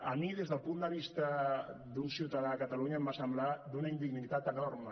a mi des del punt de vista d’un ciutadà de catalunya em va semblar d’una indignitat enorme